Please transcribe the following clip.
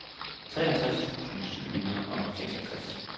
treogtres tusind syv hundrede og seksogtres